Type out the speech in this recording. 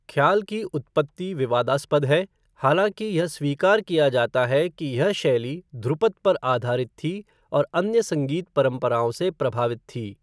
ख्याल की उत्पत्ति विवादास्पद है, हालाँकि यह स्वीकार किया जाता है कि यह शैली ध्रुपद पर आधारित थी और अन्य संगीत परंपराओं से प्रभावित थी।